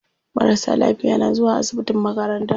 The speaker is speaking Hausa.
Marasa lafiya na zuwa asibitin makaranta.